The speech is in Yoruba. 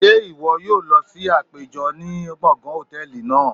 Ṣe iwọ yoo lọ si apejọ ni gbongan hòtẹ́ẹ̀lì naa?